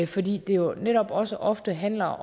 fordi det jo netop også ofte handler